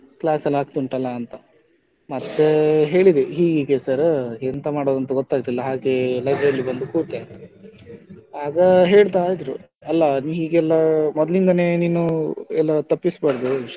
Class ಎಲ್ಲ ಆಗ್ತಾ ಉಂಟಲ್ಲ ಅಂತ, ಮತ್ತೆ ಹೇಳಿದೆ ಹೀಗಿಗೆ sir ಎಂತ ಮಾಡುದ್ ಅಂತ ಗೊತ್ತಾಗ್ಲಿಲ್ಲ ಹಾಗೆ library ಅಲ್ಲಿ ಕೂತೆ ಅಂತ ಆಗ ಹೇಳ್ತಾ ಇದ್ರೂ ಅಲ್ಲ ಅದು ಹೀಗೆಲ್ಲ ಮೊದ್ಲಿಂದನೇ ತಪ್ಪಿಸಬಾರ್ದು ಶಾಲೆಯೆಲ್ಲ ,